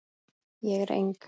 Ég er eng